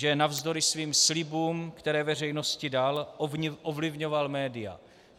Že navzdory svým slibům, které veřejnosti dal, ovlivňoval média.